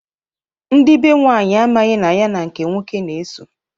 Ndị be nwanyị amaghị na ya nke nwoke na-eso.